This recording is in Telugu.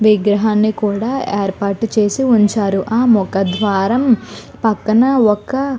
విగ్రహానికి కూడా ఏర్పాటు చేసి ఉంచారు ఆ ముఖద్వారం పక్కన ఒక --